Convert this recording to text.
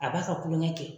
A b'a ka kulon kɛ kɛ